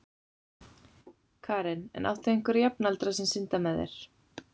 Karen: En áttu einhverja jafnaldra sem synda með þér?